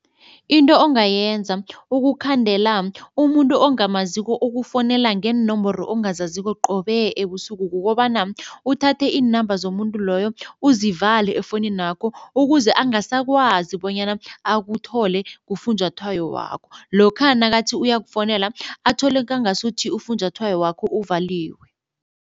Into ongayenza ukukhandela umuntu ongamaziko okufonela ngeenomboro ongazaziko qobe ebusuku kukobana uthathe iinamba zomuntu loyo uzivale efoninakho ukuze angasakwazi bonyana akuthole kufunjathwayo wakho. Lokha nakathi uyakufonela athole kangasuthi ufunjathwayo wakho uvaliwe.